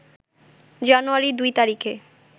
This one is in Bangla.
জানুয়ারি ২ তারিখে